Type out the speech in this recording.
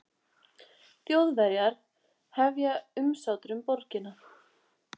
þjóðverjar hefja umsátur um borgina